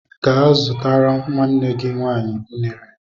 Gee zụtara nwanne gị nwaanyị ụnere!